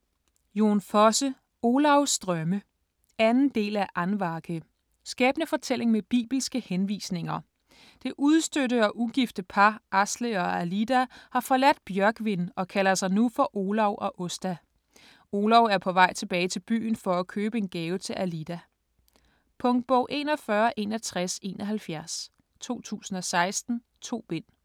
Fosse, Jon: Olavs drømme 2. del af Andvake. Skæbnefortælling med bibelske henvisninger. Det udstødte og ugifte par, Asle og Alida, har forladt Bjørgvin og kalder sig nu for Olav og Åsta. Olav er på vej tilbage til byen for at købe en gave til Alida. Punktbog 416171 2016. 2 bind.